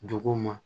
Duguw ma